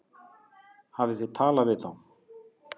Hafið þið talað við þá?